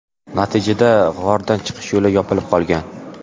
Natijada g‘ordan chiqish yo‘li yopilib qolgan.